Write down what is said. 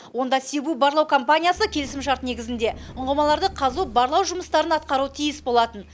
онда сибу барлау компаниясы келісімшарт негізінде ұңғымаларды қазу барлау жұмыстарын атқаруы тиіс болатын